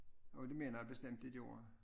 Og det mener jeg bestemt de gjorde